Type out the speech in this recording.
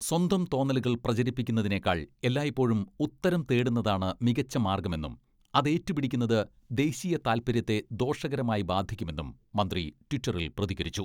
സ്വന്തം തോന്നലുകൾ പ്രചരിപ്പിക്കുന്നതിനേക്കാൾ എല്ലായ്പ്പോഴും ഉത്തരം തേടുന്നതാണ് മികച്ച മാർഗ്ഗമെന്നും അതേറ്റുപിടിക്കുന്നത് ദേശീയതാൽപര്യത്തെ ദോഷകരമായി ബാധിക്കുമെന്നും മന്ത്രി ട്വിറ്ററിൽ പ്രതികരിച്ചു.